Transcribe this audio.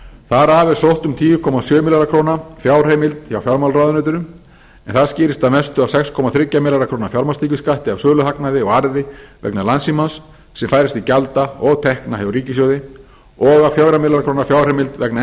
þar af er sótt um tíu komma sjö milljarða króna fjárheimild frá fjármálaráðuneytinu en það skýrist að mestu af sex komma þrjá milljarða króna fjármagnstekjuskatti af söluhagnaði og arði vegna landssímans sem færist til gjalda og tekna hjá ríkissjóði og fjórar milljónir króna og af fjögurra milljóna króna fjárheimild vegna